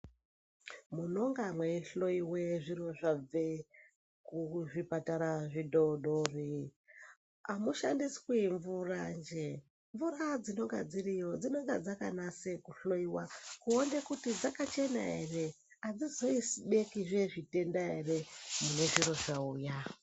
Munonga mweihloiwa zviro zvabve kuzvipatara zvidodori, amushandiswi mvuranje. Mvura dzinonga dziriyo dzinonga dzakanase kuhloiwa kuone kuti dzakachena ere, adzizoisi zvimweni zvitenda ere, kune zviro zvauya.